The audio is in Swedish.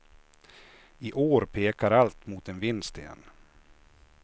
I år pekar allt mot en vinst igen.